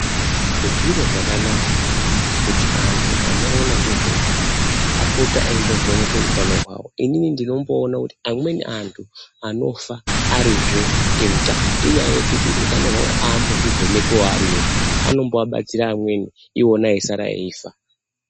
Zviro zvakanaka, kuti antu anoona ngezveutano apote eyimbovhenekwa utano hwawo. Inini ndinomboona kuti amweni antu anofa arizve eutano inyaya yekuti hutano hwawo haambozvivhenekiwo ari ega, anombabatsira amweni, iwona eyisara eyifa.